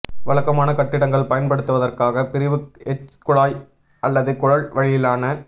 வழக்கமான கட்டிடங்கள் பயன்படுவதற்காக பிரிவுக் எச் குழாய் அல்லது குழல் வழியிலான